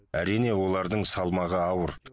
әрине олардың салмағы ауыр